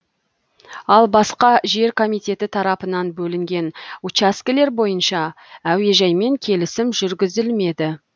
ал басқа жер комитеті тарапынан бөлінген учаскелер бойынша әуежаймен келісім жүргізілмеді